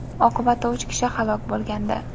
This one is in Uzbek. oqibatda uch kishi halok bo‘lgandi.